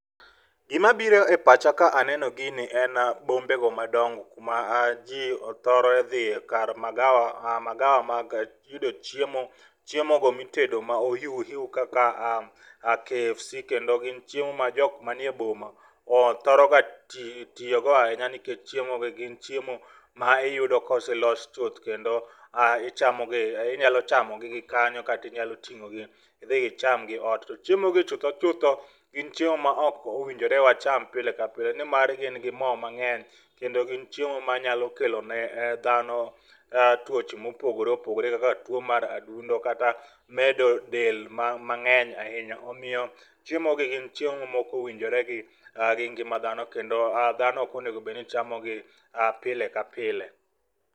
Gimabiro e pacha ka aneno gini en bombego madongo kuma ji thoro dhiye kar magawa mag yudo chiemo, chiemogo mitedo ma ohiuhiu kaka KFC,kendo gin chiemo ma jok manie boma thoroga tiyogo ahinya nikech chiemogo gin chiemo ma iyudo ka oselos chuth kendo ichamo gi.inyalo chamo gi kanyo kata inyalo ting'ogi idhi ichamgi ot, to chiemogi chutho chutho, gin chiemo ma ok owinjore wacham pile ka pile, nimar gin gi mo mang'eny kendo gin chiemo manyalo kelo ne dhano tuoche mopogore opogore kaka tuwo mar adundo kata medo del mang'eny ahinya. Omiyo chiemogi gin chiemo ma ok owinjore gi ngima dhano kendo dhano ok onego obed ni chamogi pile ka pile.